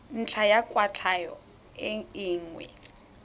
ntlha ya kwatlhao e nngwe